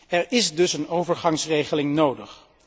Er is dus een overgangsregeling nodig.